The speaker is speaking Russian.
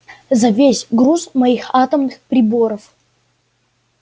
за весь груз моих атомных приборов